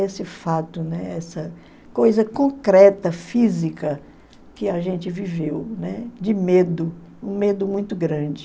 Esse fato, né, essa coisa concreta, física, que a gente viveu, né, de medo, um medo muito grande.